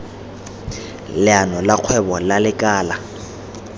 leano la kgwebo la lekala